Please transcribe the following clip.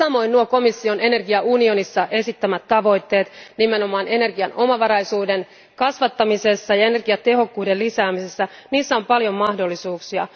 Myös komission energiaunionissa esittämät tavoitteet nimenomaan energian omavaraisuuden kasvattamisessa ja energiatehokkuuden lisäämisessä tarjoavat paljon mahdollisuuksia.